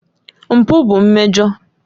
Mpụ bụ mmejọ.